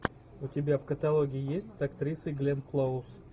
у тебя в каталоге есть с актрисой гленн клоуз